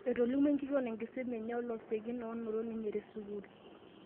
Etolimuo enkishon enkisuma enye o losekin oo noto ninye te sukuul